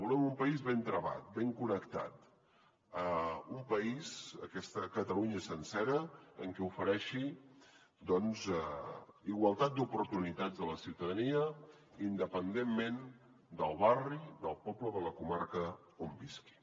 volem un país ben travat ben connectat un país aquesta catalunya sencera que ofereixi igualtat d’oportunitats a la ciutadania independentment del barri del poble o de la comarca on visquin